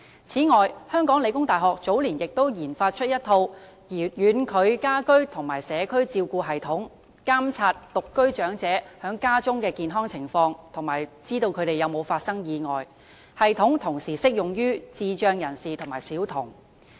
此外，香港理工大學早年亦研發了一套"遠距家居及社區照護系統"，監察獨居長者在家中的健康情況，以及查看他們有否發生意外，該系統同時適用於智障人士及小童。